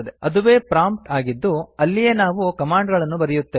ಅದುವೇ ಪ್ರಾಂಪ್ಟ್ ಆಗಿದ್ದು ಅಲ್ಲಿಯೇ ನಾವು ಕಮಾಂಡ್ ಗಳನ್ನು ಬರೆಯುತ್ತೇವೆ